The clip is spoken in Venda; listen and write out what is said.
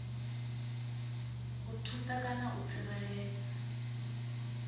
u thusa kana u tsireledza